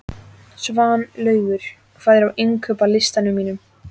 Svanlaugur, hvað er á innkaupalistanum mínum?